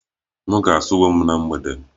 M ga-asa uwe m na mgbede